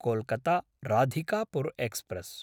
कोल्कत्ता–राधिकापुर् express